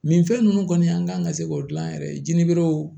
Nin fɛn ninnu kɔni an kan ka se k'o dilan yɛrɛ ye jinɛberw